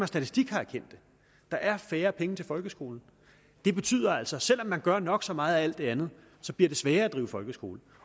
statistik har kendt det der er færre penge til folkeskolen det betyder altså at selv om man gør nok så meget af alt det andet bliver det sværere at drive folkeskole